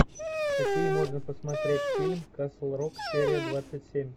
какие можно посмотреть фильм касл рок серия двадцать семь